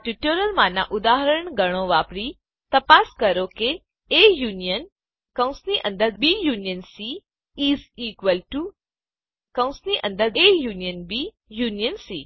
આ ટ્યુટોરીયલમાંનાં ઉદાહરણ ગણો વાપરીને તપાસ કરો કે A union is equal T O union C